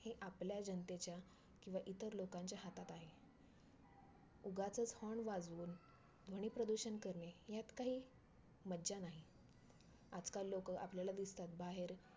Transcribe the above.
Orange cap जास्त run बनवणाऱ्या ला भेटते आणि purple cap जास्त विकेट मिळतात त्यांना भेटते